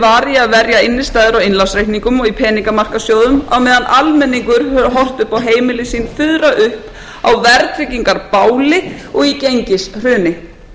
varið til að verja innistæður á innlánsreikningum og í peningamarkaðssjóðum á meðan almenningur hefur horft upp á heimili sín fuðra upp á verðtryggingarbáli og í gengishruni